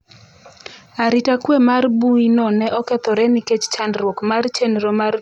Arita kwe mar mbuyino ne okethore nikech chandruok mar chenro mar tudruok mar kambi.